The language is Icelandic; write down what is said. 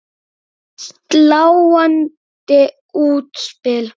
Sláandi útspil.